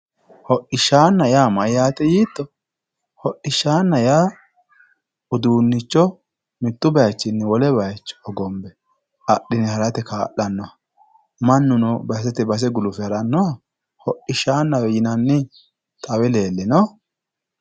Hodhishshanna yaa mayyate yiitto, hodhishshana yaa uduuncho mitu bayichini wole bayicho hogombe adhine harate kaa'lanoha, mannuno basete base gulufe haranoha hodhishshaanawe yinanni xawe leelino?